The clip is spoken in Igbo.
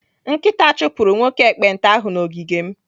Nkịta chụpụrụ nwoke ekpenta ahụ n'ogige m.